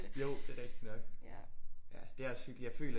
Jo det er rigtig nok ja det er også hyggeligt jeg føler